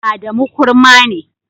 Adamu kurma ne.